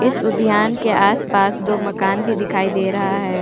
इस उद्यान के आस पास दो मकान भी दिखाई दे रहा है।